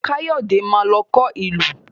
Káyọ̀dé má lọ kọ ìlù